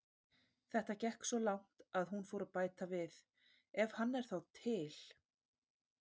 Þetta gekk svo langt að hún fór að bæta við: Ef hann er þá til.